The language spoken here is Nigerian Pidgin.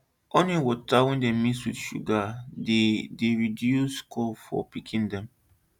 onion water wey dem mix with sugar dey dey reduce cough for pikin dem